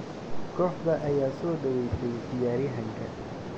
kooxda ayaa soo dhaweysay ciyaaryahanka.